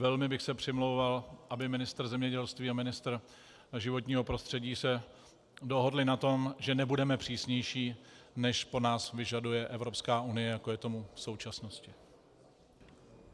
Velmi bych se přimlouval, aby ministr zemědělství a ministr životního prostředí se dohodli na tom, že nebudeme přísnější, než po nás vyžaduje Evropská unie, jako je tomu v současnosti.